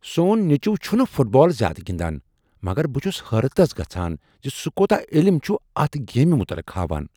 سون نیٚچو چھنہٕ فٹ بال زیادٕ گندان مگر بہٕ چھس حیرتس گژھان ز سہ کوتاہ علم چھ اتھ گیمِہ متعلق ہاوان۔